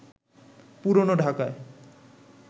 পুরনো ঢাকায়